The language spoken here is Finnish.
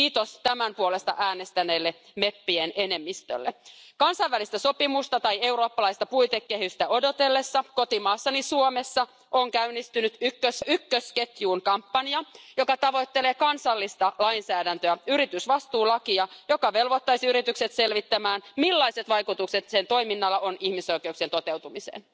Kiitos tämän puolesta äänestäneille meppien enemmistölle! Kansainvälistä sopimusta tai eurooppalaista puitekehystä odotellessa kotimaassani Suomessa on käynnistynyt ykkösketjuun kampanja, joka tavoittelee kansallista lainsäädäntöä, yritysvastuulakia, joka velvoittaisi yritykset selvittämään, millaiset vaikutukset sen toiminnalla on ihmisoikeuksien toteutumiseen.